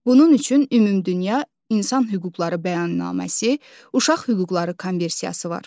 Bunun üçün ümumdünya insan hüquqları bəyannaməsi, uşaq hüquqları konvensiyası var.